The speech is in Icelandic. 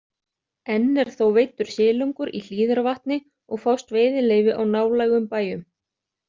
Enn er þó veiddur silungur í Hlíðarvatni og fást veiðileyfi á nálægum bæjum.